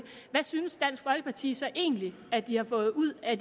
hvad synes dansk folkeparti så egentlig at de har fået ud af